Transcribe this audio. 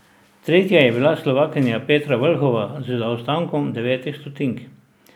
Tretja je bila Slovakinja Petra Vlhova z zaostankom devetih stotink.